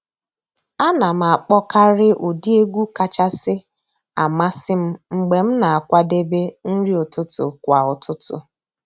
A nà m àkpọ́kàrị́ ụ́dị́ ègwú kàchàsị́ àmásị́ m mg̀bé m nà-àkwàdébé nrí ụ́tụtụ́ kwà ụ́tụtụ́.